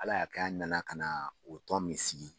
Ala y'a k'an nana ka na o tɔn min sigi